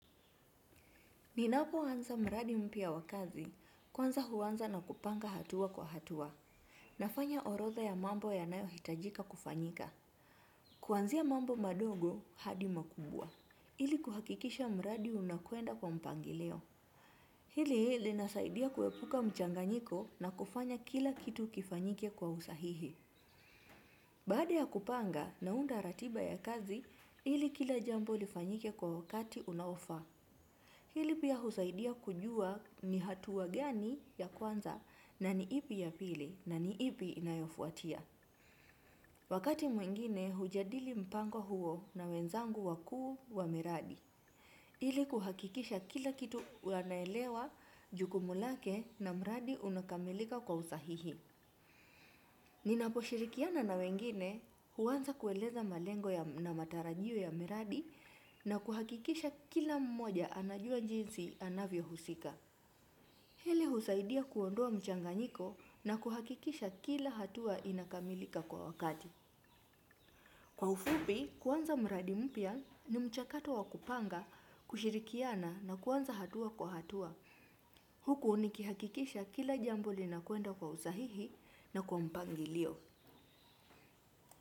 Ninapo anza mradi mpya wa kazi, kwanza huanza na kupanga hatua kwa hatua. Nafanya orodha ya mambo yanayohitajika kufanyika. Kuanzia mambo madogo hadi makubwa. Ili kuhakikisha mradi unakwenda kwa mpangilio. Hili linasaidia kuepuka mchanganyiko na kufanya kila kitu kifanyike kwa usahihi. Baada ya kupanga naunda ratiba ya kazi, ili kila jambo lifanyike kwa wakati unaofaa. Hili pia husaidia kujua ni hatua gani ya kwanza na ni ipi ya pili na ni ipi inayofuatia. Wakati mwingine hujadili mpango huo na wenzangu wakuu wa miradi. Hili kuhakikisha kila kitu wanaelewa jukumu lake na mradi unakamilika kwa usahihi. Ninaposhirikiana na wengine huanza kueleza malengo na matarajio ya miradi na kuhakikisha kila mmoja anajua jinsi anavyo husika. Hili husaidia kuondoa mchanganyiko na kuhakikisha kila hatua inakamilika kwa wakati. Kwa ufupi, kuanza mradi mpya ni mchakato wa kupanga, kushirikiana na kuanza hatua kwa hatua. Huku ukihakikisha kila jambo linakwenda kwa usahihi na kwa mpangilio.